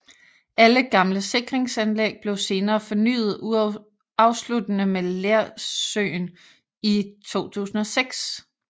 Alle gamle sikringsanlæg blev senere fornyet afsluttende med Lersøen i 2006